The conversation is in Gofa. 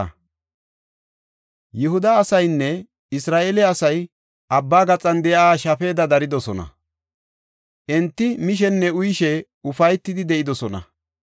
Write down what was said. Yihuda asaynne Isra7eele asay abba gaxan de7iya shafeda daridosona; enti mishenne uyishe ufaytidi de7idosona.